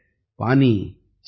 कबीरा कुआँ एक है पानी भरे अनेक |